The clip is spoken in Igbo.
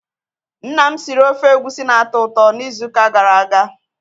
Nna m siri ofe Egusi na-atọ ụtọ n'izu ụka gara aga.